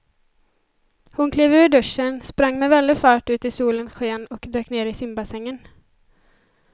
Hon klev ur duschen, sprang med väldig fart ut i solens sken och dök ner i simbassängen.